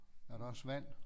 Er der også vand